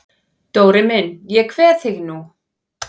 Dóri minn ég kveð þig nú.